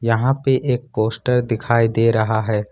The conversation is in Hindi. यहां पे एक पोस्टर दिखाई दे रहा है।